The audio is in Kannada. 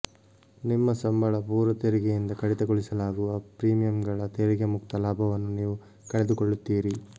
ನಿಮ್ಮ ಸಂಬಳ ಪೂರ್ವ ತೆರಿಗೆಯಿಂದ ಕಡಿತಗೊಳಿಸಲಾಗುವ ಪ್ರೀಮಿಯಂಗಳ ತೆರಿಗೆ ಮುಕ್ತ ಲಾಭವನ್ನು ನೀವು ಕಳೆದುಕೊಳ್ಳುತ್ತೀರಿ